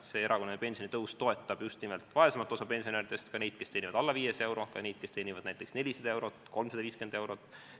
See erakorraline pensionitõus toetab just nimelt vaesemat osa pensionäridest, ka neid, kes saavad alla 500 euro, ka neid, kes saavad näiteks 400 eurot, 350 eurot.